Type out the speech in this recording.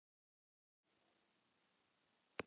Þessa ákvörðun byggði ráðherra á tillögu